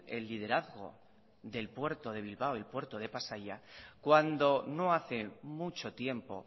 el liderazgo del puerto de bilbao el puerto de pasaia cuando no hace mucho tiempo